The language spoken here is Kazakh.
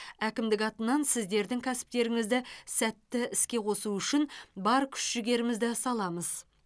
әкімдік атынан сіздердің кәсіптеріңізді сәтті іске қосу үшін бар күш жігерімізді саламыз